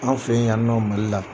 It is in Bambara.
An fɛ yan nɔ Mali la